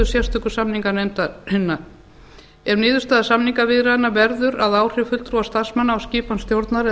sérstöku samninganefndarinnar ef niðurstaða samningaviðræðna verður að áhrif fulltrúa starfsmanna á skipan stjórnar eða